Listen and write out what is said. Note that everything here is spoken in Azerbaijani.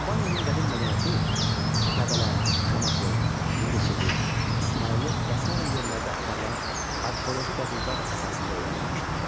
Albaniyanın qədim mədəniyyəti Qəbələ, Şamaxı, Mingəçevir, İsmayıllı və sair yerlərdə aparılan arxeoloji qazıntılar əsasında öyrənilmişdir.